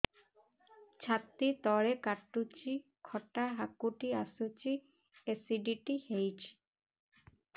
ଛାତି ତଳେ କାଟୁଚି ଖଟା ହାକୁଟି ଆସୁଚି ଏସିଡିଟି ହେଇଚି